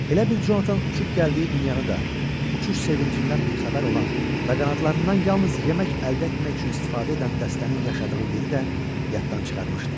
Elə bil Conatan uçub gəldiyi dünyanı da, uçuş sevincindən bixəbər olan və qanadlarından yalnız yemək əldə etmək üçün istifadə edən dəstənin yaşadığı yeri də yaddan çıxarmışdı.